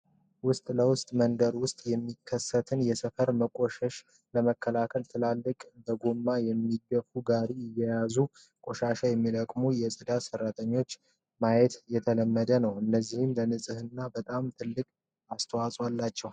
ውስጥ ለውስጥ መንደር ውስጥ የሚከሰትን የሰፈር መቆሸሽ ለመከላከል ትላልቅ በጎማ የሚገፉ ጋሪዎችን እየያዙ ቆሻሻ የሚለቅሙ የጻድት ሰራተኞችን ማየት የተለመደ ነው። እነዚህም ለንጽህና በጣም ትልቅ አስተዋጽኦ አላቸው።